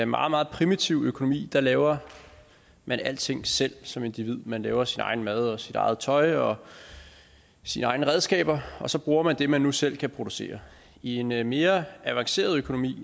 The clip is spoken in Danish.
meget meget primitiv økonomi laver man alting selv som individ man laver sin egen mad og sit eget tøj og sine egne redskaber og så bruger man det man nu selv kan producere i en mere mere avanceret økonomi